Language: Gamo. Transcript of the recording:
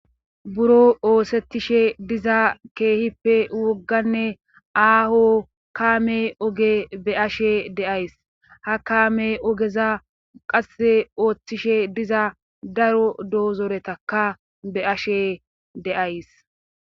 buro oosettishe diza keehippe wogganne aaho kaame oge be ashe deays ha kaame ogeza qasse ooththishe diza daro doozoretaka be ashe deays